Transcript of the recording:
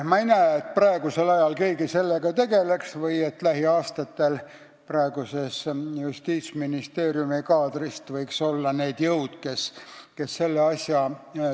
Ma ei näe, et praegusel ajal keegi sellega tegeleks või et lähiaastatel võiks praeguse Justiitsministeeriumi kaadris olla selliseid jõude, kes seda asja veaks.